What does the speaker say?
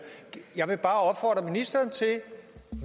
jeg vil bare opfordre ministeren